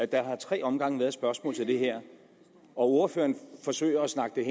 der har i tre omgange været spørgsmål til det her og ordføreren forsøger at snakke